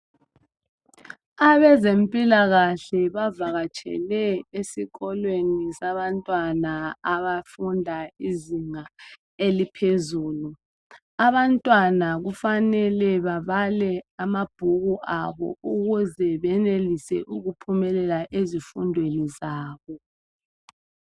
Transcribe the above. Abezempilakahle bavakatshele esikolweni sabantwana abafunda izinga eliphezulu. Abantwana kufanele babale amabhuku abo ukuze benelise ukuphumelela ezifundweni zabo.